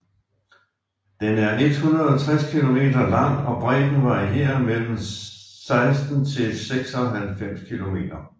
Den er 160 kilometer lang og bredden varierer mellem 16 til 96 kilometer